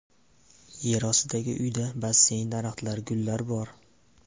Yerostidagi uyda basseyn, daraxtlar, gullar bor.